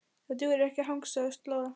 Það dugar ekki að hangsa og slóra.